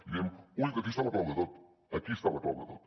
i dèiem ull que aquí està la clau de tot aquí està la clau de tot